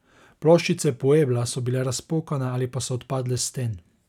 Ploščice puebla so bile razpokane ali pa so odpadle s sten.